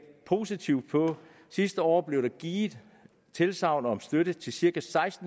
positivt på sidste år blev der givet tilsagn om støtte til cirka